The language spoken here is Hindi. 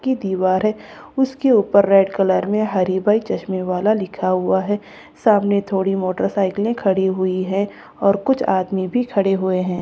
की दीवार है उसके ऊपर रेड कलर में हरिभाई चश्मे वाला लिखा हुआ है सामने थोड़ी मोटरसाइकिले खड़ी हुई है और कुछ आदमी भी खड़े हुए है।